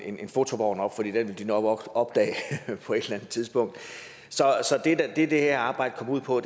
en fotovogn op for den vil de nok opdage på et eller andet tidspunkt så det det her arbejde går ud på